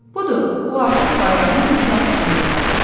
Budur, o artıq bayrağın iki addımlığındadır.